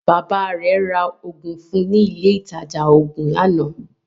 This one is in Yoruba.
Baba rẹ̀ ra Ògùn fún ní ilé ìtajà oògùn lánàá